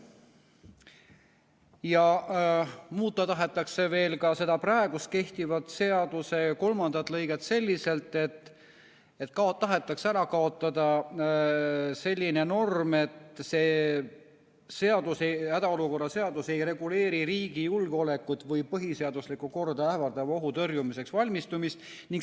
Ja muuta tahetakse veel ka praegu kehtiva seaduse kolmandat lõiget selliselt, et tahetakse ära kaotada see norm, et hädaolukorra seadus ei reguleeri riigi julgeolekut või põhiseaduslikku korda ähvardava ohu tõrjumiseks valmistumist.